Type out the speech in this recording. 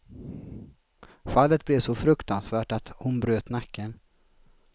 Fallet blev så fruktansvärt att hon bröt nacken.